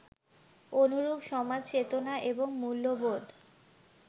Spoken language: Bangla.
অনুরূপ সমাজচেতনা এবং মূল্যবোধ